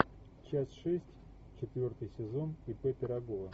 часть шесть четвертый сезон ип пирогова